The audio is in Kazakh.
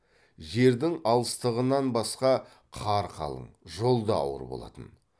жердің алыстығынан басқа қар қалың жол да ауыр болатын